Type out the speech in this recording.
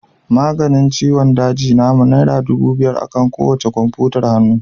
Maganin ciwon daji namu naira dubu biyar akan kowacce kwamfutar hannu